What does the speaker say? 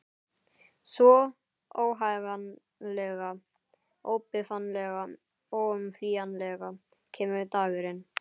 Svo, óhagganlega, óbifanlega, óumflýjanlega kemur dagurinn.